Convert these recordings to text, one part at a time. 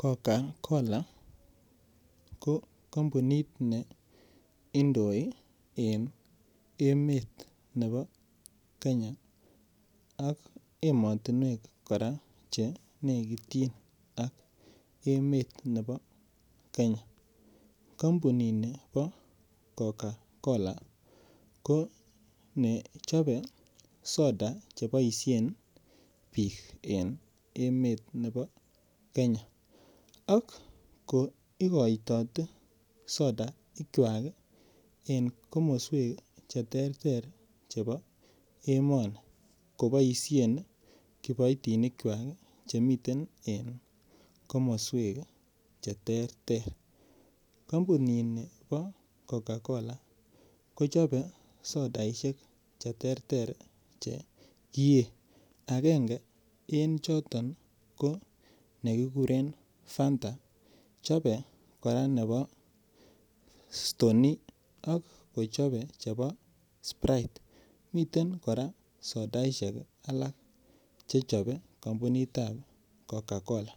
Cocacola ko kampunit ne indoii en emet ne bo kenya ak emotinywek kora chenekityin ak emet ne bo kenya kampunini bo Cocacolo konechope soda cheboisien biik en emet ne bo kenya ak ko ikoitotet soda ikwak en komoswek cheterter chebo emoni ak koboisien kiboitinikwak chemiten komoswek cheterter, kampunini bo Cocacola kochope sodaisiek cheterter chekiye akenge en choton ii konekikuren Fanta, chope kora ne bo stoney, ak kochope kora nebo spirite, miten kora sodaisiek alak che chobe kampunitab Cocacola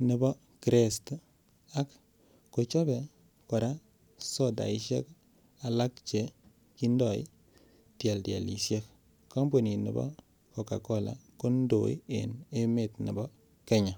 ne bo krest ak kochobe sodaisiek alak cheindoi tieltielisiek kampunini bo cocacola koindoi en emet ne bo kenya.